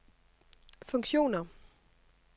funktioner